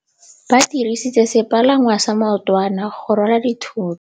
Ba dirisitse sepalangwasa maotwana go rwala dithôtô.